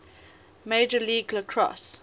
major league lacrosse